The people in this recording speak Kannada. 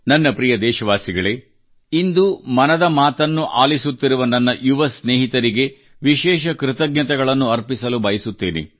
ನನ್ನ ಪ್ರೀತಿಯ ದೇಶವಾಸಿಗಳೇ ಇಂದು ಮನದ ಮಾತು ಆಲಿಸುತ್ತಿರುವ ನನ್ನ ಯುವ ಸ್ನೇಹಿತರಿಗೆ ವಿಶೇಷ ಕೃತಜ್ಞತೆಗಳನ್ನು ಅರ್ಪಿಸಲು ಬಯಸುತ್ತೇನೆ